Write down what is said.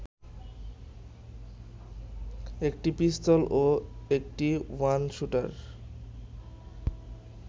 একটি পিস্তল ও ১টি ওয়ান শুটারগান